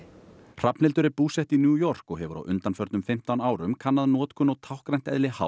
Hrafnhildur er búsett í New York og hefur á undanförnum fimmtán árum kannað notkun og táknrænt eðli